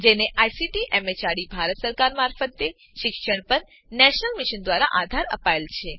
જેને ICT MHRD Bharat સરકાર મારફતે શિક્ષણ પર નેશનલ મિશન દ્વારા આધાર અપાયેલ છે